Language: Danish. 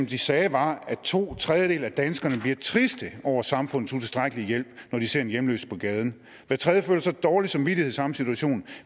de sagde var at to tredjedele af danskerne bliver triste over samfundets utilstrækkelige hjælp når de ser en hjemløs på gaden hver tredje føler dårlig samvittighed samme situation